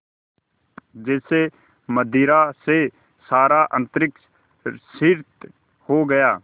जैसे मदिरा से सारा अंतरिक्ष सिक्त हो गया